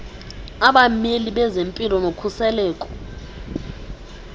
abameli bezempilo nokhuseleko